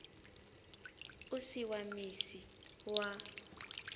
u si wa misi wa